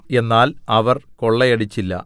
എന്നാൽ അവർ കൊള്ളയടിച്ചില്ല